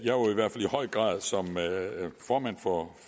høj grad som formand for